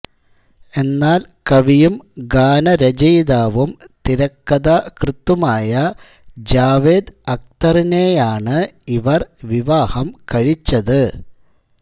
എന്നാൽ കവിയും ഗാനരചയിതാവും തിരക്കഥാകൃത്തുമായ ജാവേദ് അക്തറിനെയാണ് ഇവർ വിവാഹം കഴിച്ചത്